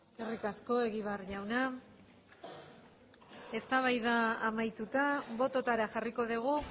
eskerrik asko egibar jauna eztabaida amaituta bototara jarriko dugu